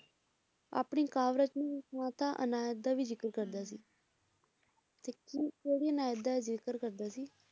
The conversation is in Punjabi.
ਆਪਣੀ ਕਾਵਰੇਤਨ ਮਾਤਾ ਅਨਾਇਤ ਦਾ ਵੀ ਜਿਕਰ ਕਰਦਾ ਸੀ ਹੁੰ ਤੇ ਉਹ ਕਿਹੜੀ ਅਨਾਇਤ ਦਾ ਜਿਕਰ ਕਰਦਾ ਸੀ